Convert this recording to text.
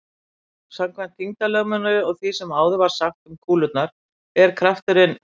samkvæmt þyngdarlögmálinu og því sem áður var sagt um kúlurnar er krafturinn